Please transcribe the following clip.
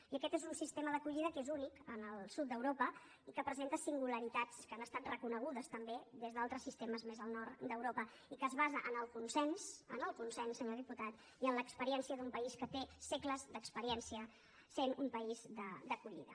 i aquest és un sistema d’acollida que és únic en el sud d’europa i que presenta singularitats que han estat reconegudes també des d’altres sistemes més al nord d’europa i que es basa en el consens en el consens senyor diputat i en l’experiència d’un país que té segles d’experièn cia sent un país d’acollida